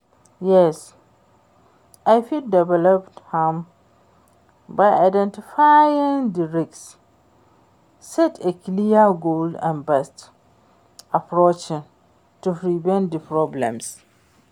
yes, i fit develop am by identifying di risks, set a clear goals and best approaches to prevent di problems.